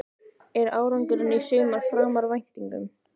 Er ekki árangurinn í sumar framar væntingum?